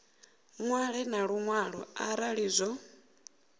ṅwale na luṅwalo arali zwo